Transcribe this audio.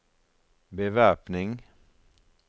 bevæpning